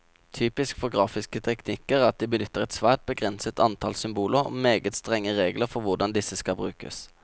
Typisk for grafiske teknikker er at de benytter et svært begrenset antall symboler, og meget strenge regler for hvordan disse skal brukes.